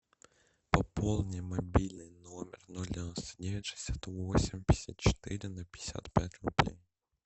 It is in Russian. пополни мобильный номер ноль девяносто девять шестьдесят восемь пятьдесят четыре на пятьдесят пять рублей